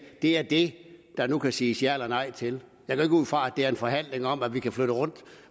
det er det der nu kan siges ja eller nej til jeg går ikke ud fra at det er en forhandling om at vi kan flytte rundt